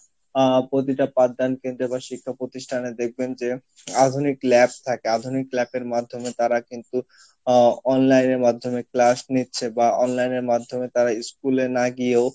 আহ প্রতিটা প্রাধ্যান কেন্দ্রে বা শিক্ষ প্রতিষ্ঠানে দেখবেন যে আধুনিক lab থাকে আধুনিক lab এর মাধ্যমে তারা কিন্তু আহ online এর মাধ্যমে class নিচ্ছে বা online এর মাধ্যমে তারা school এ না গিয়েও